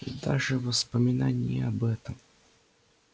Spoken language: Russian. и даже воспоминание об этом